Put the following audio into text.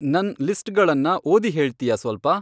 ನನ್ ಲಿಸ್ಟ್ಗಳನ್ನ ಓದಿ ಹೇಳ್ತ್ಯಾ ಸ್ವಲ್ಪ